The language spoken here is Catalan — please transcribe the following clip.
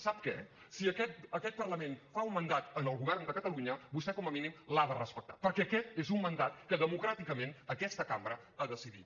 sap què si aquest parlament fa un mandat al govern de catalunya vostè com a mínim l’ha de respectar perquè aquest és un mandat que democràticament aquesta cambra ha decidit